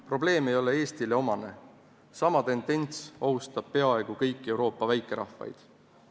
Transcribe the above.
Probleem ei ole mitte üksnes Eestile eriomane, sama tendents ohustab peaaegu kõiki Euroopa väikerahvaid.